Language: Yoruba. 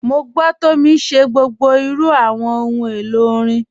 Mọ̀ gbọ́ Tomì ṣẹ̀ gbogbo irù awọn ọ̀hun èlo orin.